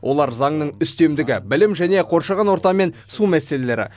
олар заңның үстемдігі білім және қоршаған орта мен су мәселелері